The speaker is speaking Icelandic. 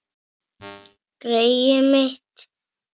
Greyið mitt